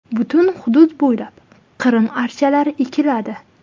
Butun hudud bo‘ylab Qrim archalari ekiladi.